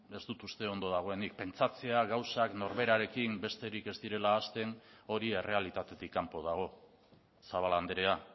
ez dut uste ondo dagoenik pentsatzea gauzak norberarekin besterik ez direla hasten hori errealitatetik kanpo dago zabala andrea